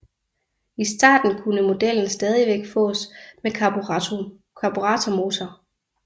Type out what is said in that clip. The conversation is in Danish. I starten kunne modellen stadigvæk fås med karburatormotorer